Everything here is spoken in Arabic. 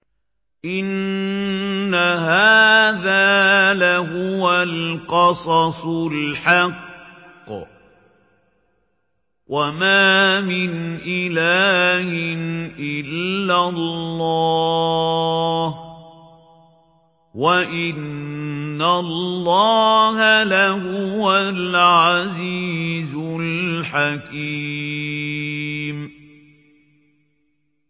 إِنَّ هَٰذَا لَهُوَ الْقَصَصُ الْحَقُّ ۚ وَمَا مِنْ إِلَٰهٍ إِلَّا اللَّهُ ۚ وَإِنَّ اللَّهَ لَهُوَ الْعَزِيزُ الْحَكِيمُ